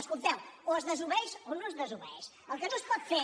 escolteu o es desobeeix o no es desobeeix el que no es pot fer